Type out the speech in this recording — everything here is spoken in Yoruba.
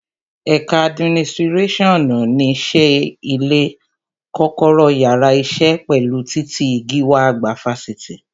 Ẹ̀ka adiminisirasionu ní ṣe ilé, kọ́kọ́rọ́ yàrá isẹ, pẹ̀lú titi gíwá àgbà Fáṣítì